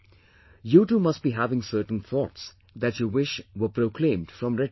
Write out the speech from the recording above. You too must be having certain thoughts that you wish were proclaimed from Red Fort